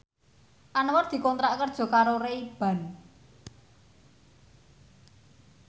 Anwar dikontrak kerja karo Ray Ban